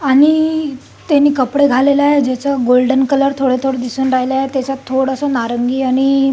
आणि त्यानी कपडे घालायला ज्याचा गोल्डन कलर थोड थोड दिसून राहीलाय त्याच्यात थोडस नारंगी आणि--